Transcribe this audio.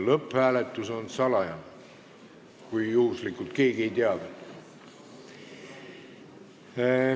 Lõpphääletus on salajane, kui keegi juhuslikult ei teadnud.